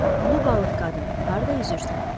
Ulu balıq qadın, harda üzürsən?